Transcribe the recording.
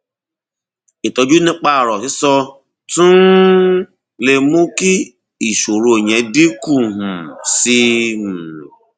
ìtọjú nípa ọrọ sísọ tún um lè mú kí ìṣòro yẹn dínkù um sí um i